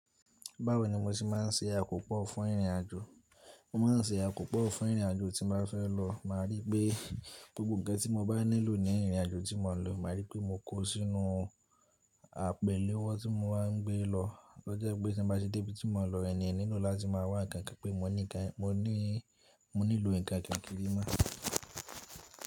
Báwo ni mo ti máà ń ṣe àkópọ̀ fún ìrìn àjò? Mo máa ń ṣe àkópọ̀ fún ìrìnàjò tí mo bá fẹ́ lọ, màá rí pé gbogbo ǹkan tí mo bá nílò ní ìrìnàjò tí mo ń lọ, màá rí pé mo kó ó sínú àpèléwọ́ tí mo máa ń gbé lọ. Tọ́ jẹ́ pé tí mo bá ṣe de bi tí mo ń lọ, ẹ̀niyan o nílo láti máa wá ǹkan pé mo ní ǹkan, mo ní ìlò ǹkan kíri mo.